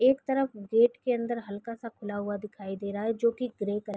एक तरफ गेट के अंदर हल्का सा खुला हुआ दिखाई दे रहा है जो की ग्रे क--